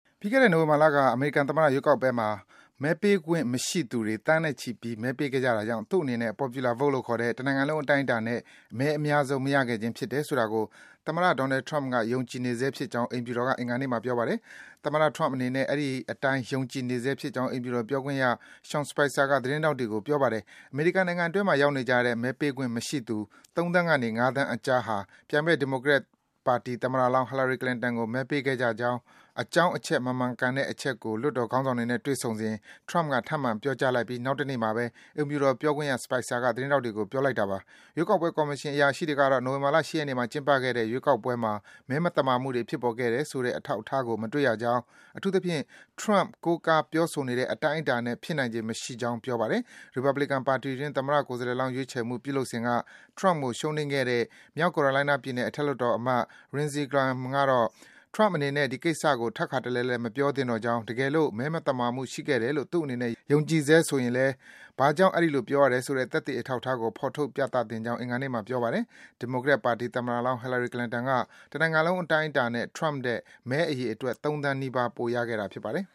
ပြီးခဲ့တဲ့ နိုဝင်ဘာလက အမေရိကန်သမ္မတ ရွေးကောက်ပွဲမှာ မဲပေးခွင့်မရှိသူတွေ သန်းနဲ့ချီပြီး မဲပေးခဲ့ကြတာကြောင့် သူ့အနေနဲ့ Popular Vote လို့ခေါ်တဲ့ တနိုင်ငံလုံးအတိုင်းအတာနဲ့ မဲအများဆုံး မရခဲ့ခြင်းဖြစ်တယ်ဆိုတာကို သမ္မတ Donald Trump ယုံကြည်နေဆဲဖြစ်ကြောင်း အိမ်ဖြူတော်က အင်္ဂါနေ့မှာ ပြောပါတယ်။ သမ္မတ Trump အနေနဲ့ အဲဒီအတိုင်း ယုံကြည်နေဆဲဖြစ်ကြောင်း အိမ်ဖြူတော်ပြောခွင့်ရ Sean Spicer က သတင်းထောက်တွေကို ပြောပါတယ်။ အမေရိကန်နိုင်ငံအတွင်းမှာ ရောက်နေကြတဲ့ မဲပေးခွင့်မရှိသူ ၃ သန်းကနေ ၅ သန်းအကြားဟာ ပြိုင်ဘက် ဒီမိုကရက် သမ္မတလောင်း Hillary Clinton ကို မဲပေးခဲ့ကြကြောင်း အကြောင်းအချက် မမှန်ကန်တဲ့အချက်ကို လွှတ်တော်ခေါင်းဆောင်တွေနဲ့ တွေ့ဆုံစဉ် Trump က ထပ်မံ ပြောကြားပြီး နောက်တနေ့မှာပဲ အိမ်ဖြူတော် ပြောခွင့်ရ Spicer က သတင်းထောက်တွေကို ပြောလိုက်တာပါ။ ရွေးကောက်ပွဲကော်မရှင် အရာရှိတွေကတော့ နိုဝင်ဘာလ ၈ ရက်နေ့မှာ ကျင်းပခဲ့တဲ့ ရွေးကောက်ပွဲမှာ မဲမသမာမှုတွေ ဖြစ်ပေါ်ခဲ့တယ်ဆိုတဲ့ အထောက်အထားကို မတွေ့ရကြောင်း၊ အထူးသဖြင့် Trump ကိုးကား ပြောဆိုနေတဲ့ အတိုင်းအတာနဲ့ ဖြစ်နိုင်ခြေ မရှိကြောင်း ပြောပါတယ်။ ရီပတ်ဘလီကန်ပါတီတွင်း သမ္မတကိုယ်စားလှယ်လောင်း ရွေးချယ်မှု ပြုလုပ်စဉ်က Trump ကို ရှုံးနိမ့်ခဲ့တဲ့ မြောက် Carolina ပြည်နယ် အထက်လွှတ်တော်အမတ် Lindsey Graham ကတော့ - Trump အနေနဲ့ ဒီကိစ္စကို ထပ်ခါတလဲလဲ မပြောသင့်တော့ကြောင်း၊ တကယ်လို့ မဲမသမာမှုတွေ ရှိခဲ့တယ်လို့ သူ့အနေနဲ့ ယုံကြည်နေဆဲဆိုရင်လည်း ဘာကြောင့် အဲဒီလို ပြောရတယ်ဆိုတဲ့ သက်သေအထောက်အထားကို ဖော်ထုတ် ပြသသင့်ကြောင်း အင်္ဂါနေ့မှာ ပြောပါတယ်။ ဒီမိုကရက်ပါတီ သမ္မတလောင်း Hillary Clinton က တနိုင်ငံလုံးအတိုင်းအတာနဲ့ Trump ထက် မဲအရေအတွက် ၃ သန်းနီးပါး ပိုရရှိခဲ့တာ ဖြစ်ပါတယ်